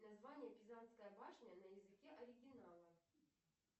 название пизанская башня на языке оригинала